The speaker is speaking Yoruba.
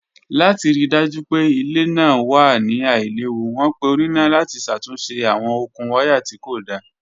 Lati rii daju pe ile naa wa ni ailewu, wọn pe onina lati ṣatunṣe awọn okun waya ti ko da.